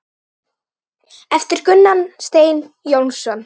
eftir Gunnar Stein Jónsson